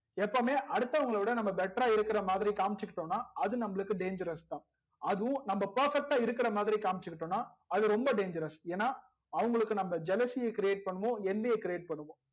எப்போவுமே அடுத்தவங்கள விட நம்ப better றா இருக்குறா மாதிரி காம்சிக் கிடோம்னா அது நமக்கு dangerous தா அதுவும் நம்ப perfect டா இருக்குறா மாதிரி காம்சிக் கிடோம்னா அது ரொம்ப dangerous ஏனா நம்ப அவங்களுக்கு jealousy ய create பண்ணுவோம் பண்ணுவோம்